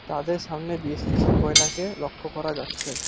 তাদের সামনে বেশ কিছু গয়নাকে লক্ষ করা যাচ্ছে।